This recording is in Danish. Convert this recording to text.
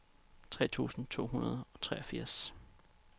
tre tusind to hundrede og treogfirs